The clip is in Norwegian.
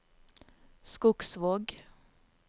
Skogsvåg